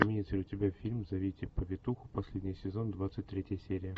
имеется ли у тебя фильм зовите повитуху последний сезон двадцать третья серия